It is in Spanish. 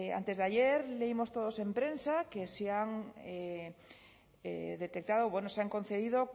antes de ayer leímos todos en prensa que se han detectado bueno se han concedido